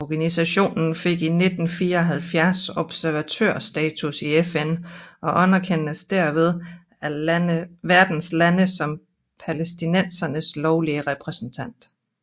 Organisationen fik i 1974 observatørsstatus i FN og anerkendes dermed af verdens lande som palæstinensernes lovlige repræsentant